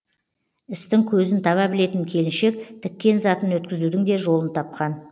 істің көзін таба білетін келіншек тіккен затын өткізудің де жолын тапқан